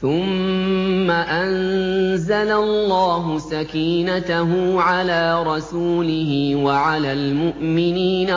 ثُمَّ أَنزَلَ اللَّهُ سَكِينَتَهُ عَلَىٰ رَسُولِهِ وَعَلَى الْمُؤْمِنِينَ